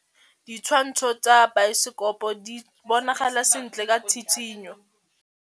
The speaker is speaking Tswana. Ditshwantshô tsa biosekopo di bonagala sentle ka tshitshinyô.